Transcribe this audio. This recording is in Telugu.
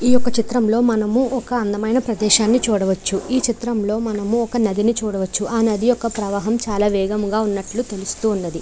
చిత్రంలో మనము ఒక అందమైన ప్రదేశాన్ని చూడవచ్చు ఈ చిత్రంలో మనము ఒక నది ని చదవచ్చు.ఆ నది ఒక ప్రవాహం చాల వేగముగా ఉన్నటు తెలుస్తున్నది.